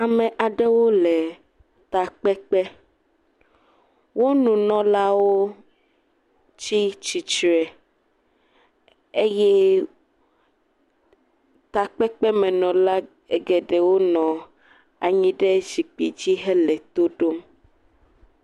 Ame aɖewo le takpekpe. Wo nunɔlawo tsi tsitsre eye takpekpemenɔla geɖewo nɔ anyi ɖe zikpidzi hele to ɖom.